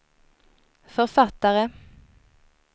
författare